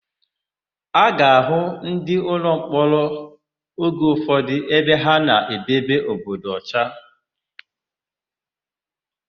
A ga-àhụ́ ndịụlọmkpọrọ oge ụfọdụ ebe ha na-edebe obodo ọcha.